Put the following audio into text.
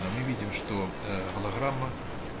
а мы видим что ээ голограмма